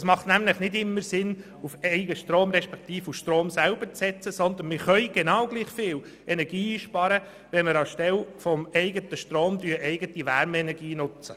Es macht nämlich nicht immer Sinn, auf Eigenstrom beziehungsweise auf den Strom selber zu setzen, denn wir können gleich viel Energie einsparen, wenn wir anstelle des eigenen Stroms eigene Wärmeenergie nutzen.